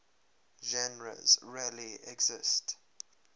genres really exist